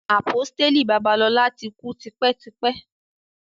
Àpọ́stélì Babalola ti kú tipẹ́ tipẹ́.